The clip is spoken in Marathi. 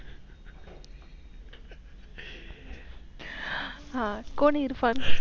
आह कोण इअरफोन?